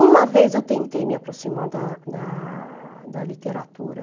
Uma vez eu tentei me aproximar da da da literatura.